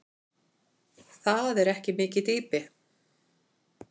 Það er ekki mikið dýpi.